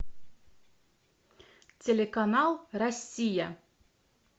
телеканал россия